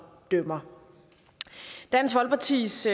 dømmer dansk folkepartis